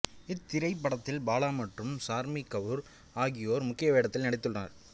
இத்திரைப்படத்தில் பாலா மற்றும் சார்மி கவுர் ஆகியோர் முக்கிய வேடத்தில் நடித்திருந்தனர்